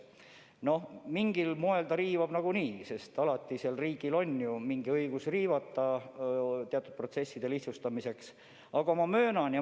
Noh, mingil moel ta riivab nagunii, aga riigil ongi õigus teatud protsesside lihtsustamiseks omanike õigusi riivata.